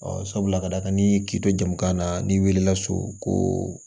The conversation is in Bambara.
sabula ka d'a kan ni kito jamu kan na n'i weelela so koo